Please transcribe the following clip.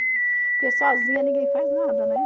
Porque sozinha ninguém faz nada, né?